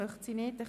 – Sie verneint.